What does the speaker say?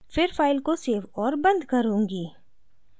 फिर फ़ाइल को सेव और बंद करुँगी